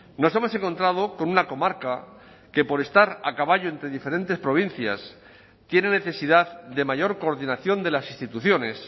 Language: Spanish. nos hemos encontrado con una comarca que por estar a caballo entre diferentes provincias tiene necesidad de mayor coordinación de las instituciones